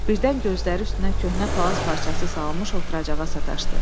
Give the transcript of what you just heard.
Birdən gözləri üstünə köhnə palaz parçası salınmış oturacağa sataşdı.